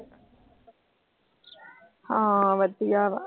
ਹਾਂ। ਵਧੀਆ ਵਾ।